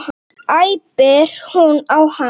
æpir hún á hann.